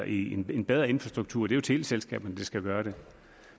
i en bedre infrastruktur er det jo teleselskaberne der skal gøre det